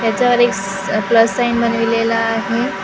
याच्यावर एक स अ प्लस साईन बनवलेला आहे .